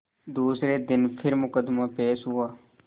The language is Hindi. दूसरे दिन फिर मुकदमा पेश हुआ